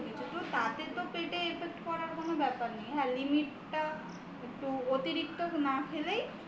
তাতে তো পেটে effect পড়ার কোন ব্যাপার নেই হ্যাঁ limit টা একটু অতিরিক্ত না খেলেই